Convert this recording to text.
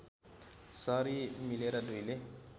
sorry मिलेर दुईले